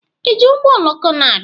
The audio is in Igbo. Iji ụgbọoloko na-abịa?